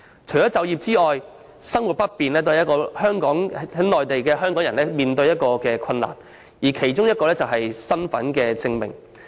除就業外，生活不便亦是現時在內地港人所面對的困難，其中一個問題是身份證明。